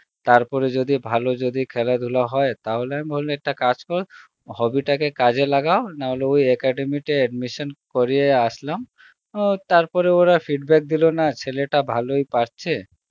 তারপরে যদি ভালো যদি খেলাধুলা হয় তাহলে আমি ভাবলাম একটা কাজ কর, hobby তাকে কাজে লাগাও নাহলে ওই academy তে admission করিয়ে আসলাম অ্যাঁ তারপরে ওরা feedback দিল না ছেলেটা ভালই পারছে,